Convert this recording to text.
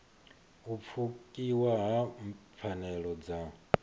u pfukiwa ha pfanelo dza